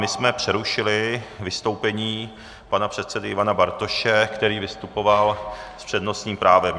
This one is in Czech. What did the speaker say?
My jsme přerušili vystoupení pana předsedy Ivana Bartoše, který vystupoval s přednostním právem.